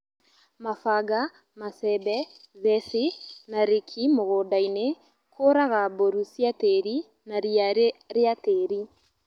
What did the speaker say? mabanga, macembe, theci, na rĩki mũgunda-inĩ kũraga mbũru cia tĩri na ria rĩa tĩri